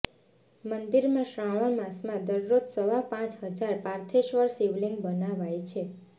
મંદિરમાં શ્રાવણ માસમાં દરરોજ સવા પાંચ હજાર પાર્થેશ્વર શિવલિંગ બનાવાય છે